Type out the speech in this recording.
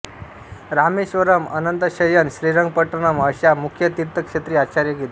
रामेश्वरम अनंतशयन श्रीरंगपट्टण अशा मुख्य तीर्थक्षेत्री आचार्य गेले